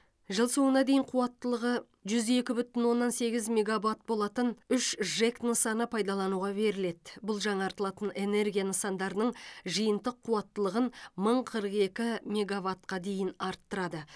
жыл соңына дейін қуаттылығы жүз екі бүтін оннан сегіз мегаватт болатын үш жэк нысаны пайдалануға беріледі бұл жаңартылатын энергия нысандарының жиынтық қуаттылығын мың қырық екі мегаваттқа дейін арттырады